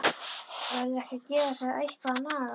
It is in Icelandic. Verður ekki að gefa þessu eitthvað að naga?